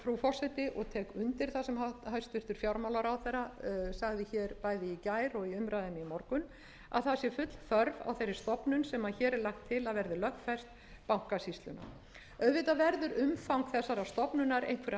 það sem hæstvirtur fjármálaráðherra sagði hér bæði í gær og í umræðunni í morgun að það sé fella þörf á þeirri stofnun sem hér er lagt til að verði lögfest bankasýslunni auðvitað verður umfang þessarar